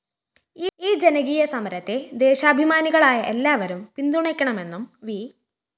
ഈ ജനകീയസമരത്തെ ദേശാഭിമാനികളായ എല്ലാവരും പിന്തുണയ്ക്കണമെന്നും വി